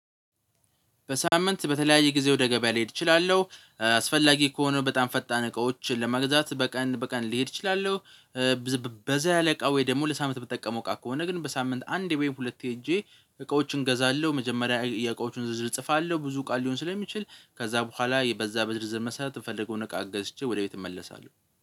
በሳምንት በተለያየ ጊዜ ወደ ገበያ ሊሄድ እችላለሁ አስፈላጊ ከሆኑ በጣም ፈጣን እቃዎችን ለመግዛት በቀን በቀን ሊሄድ እችላለሁ። በዛ እቃ ወይ ደግሞ ለሳምንት የምትጠቀመው ቃል ከሆነ ግን በሳምንት አንድ ወይም ሁለት ሄጄ እቃዎችን እገዛለሁ። መጀመሪያ የእቃዎቹን ዝዝር እጽፋለሁ ብዙ ቃል ሊሆን ስለሚችል ከዛ በኋላ በዛ በዝርዝር መስራት የፈለገውን እቃ ገዝቼ ወደ ቤት እመለሳለሁ።